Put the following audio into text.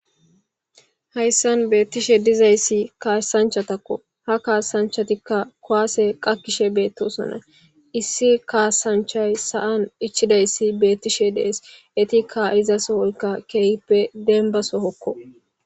Hayssan beettishe dizayssi kaasanchatakko. ha kaasanchatikka kuwaase qakkishe beettosona. issi kaasanchay sa'an ichidayssi beettishe dees. etikka iza sohoyka keehippe denbba sohokko.